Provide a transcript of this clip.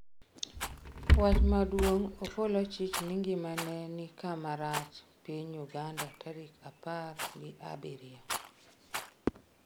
wach maduong' Opolo chich ni ngimane ni kama rach Piny Uganda tarik apar gi abiriyo